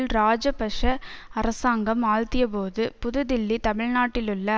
இராஜபக்ஷ அரசாங்கம் ஆழ்த்தியபோது புது தில்லி தமிழ்நாட்டிலுள்ள